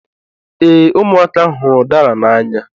Ee, ụmụaka hụrụ udara n'anya